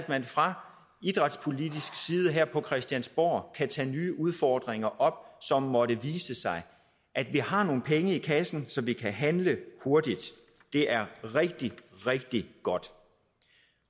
man fra idrætspolitisk side her på christiansborg kan tage nye udfordringer op som måtte vise sig at vi har nogle penge i kassen så vi kan handle hurtigt det er rigtig rigtig godt